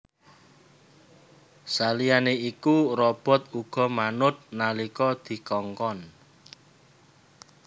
Saliyané iku robot uga manut nalika dikongkon